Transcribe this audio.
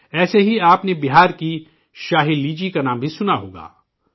ایسے ہی آپ نے بہار کی 'شاہی لیچی' کا نام بھی سنا ہوگا